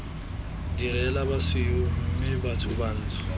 direla basweu mme batho bantsho